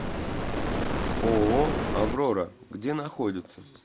ооо аврора где находится